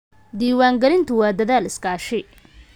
Diiwaangelintu waa dadaal iskaashi.